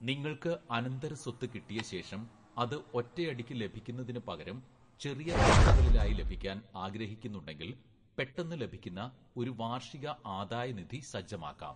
നിങ്ങൾക്ക് അനന്തരസ്വത്ത് കിട്ടിയശേഷം അത് ഒറ്റയടിക്ക് ലഭിക്കുന്നതിന് പകരം ചെറിയ തവണകളിലായി ലഭിക്കാൻ ആഗ്രഹിക്കുന്നുണ്ടെങ്കിൽ പെട്ടെന്ന് ലഭിക്കുന്ന ഒരു വാർഷിക ആദായ നിധി സജ്ജമാക്കാം.